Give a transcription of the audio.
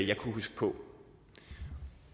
jeg kunne huske